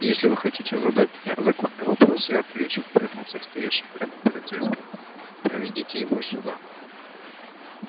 если вы хотите задать мне законный вопрос я отвечу он повернулся к стоящему рядом полицейскому проведите его сюда